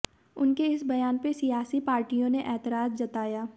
उनके इस बयान पर सियासी पार्टियों ने एतराज जताया